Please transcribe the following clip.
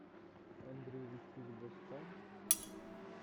андрей викторович бастан